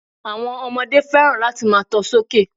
Àwon ọmọdé fẹ́ràn láti máa to sókè